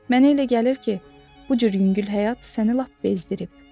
Mənə elə gəlir ki, bu cür yüngül həyat səni lap bezdirib.